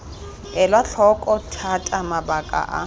elwa tlhoko thata mabaka a